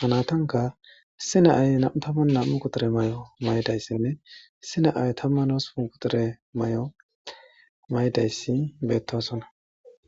hanatanka issi naay nam'u tamman nam'u quture mayo mayidayssinne issi naay tamman oosupun quxire may'o may'dayssi beettosona.